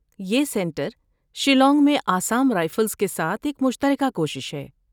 یہ سنٹر شیلانگ میں آسام رائفلز کے ساتھ ایک مشترکہ کوشش ہے۔